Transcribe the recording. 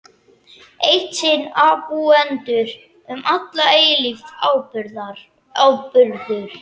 Eitt sinn ábúendur, um alla eilífð áburður.